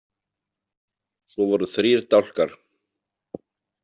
Svo voru þrír dálkar.